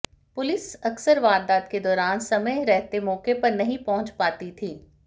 police अकसर वारदात के दौरान समय रहते मौके पर नहीं पहुंच पाती थी